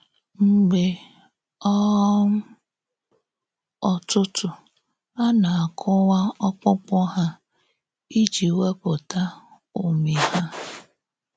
Mgbe um ọ̌tụ̀tụ̀ a na-àkụ̀wá ọ̀kpụ̀kpụ̀ hà íjì wépụ̀tà ụ́mị hà.